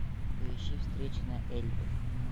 поищи встреча на эльбе